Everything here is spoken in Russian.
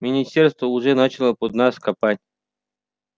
министерство уже начало под нас копать